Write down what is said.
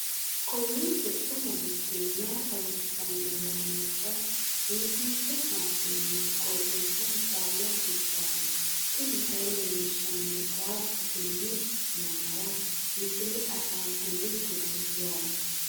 kowiicho xuma mtini maa xawissanno yaannohura biifinse haa'noonniti qooxeessano faayya kultanno tini kayi leellishshannori qaaqu tenne yannaara misile ashngukllitete yaate